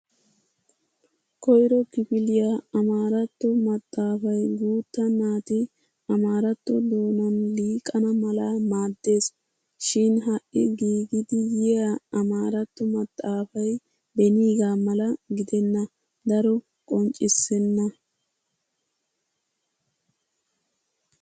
Koyro kifiliya amaaratto maxxaafay guutta naati ammaratto doonan liiqana mala maaddes. Shin ha'i giigidi yiya ammaratto maxxaafay beenigaa mala giddena daro qonccissenna.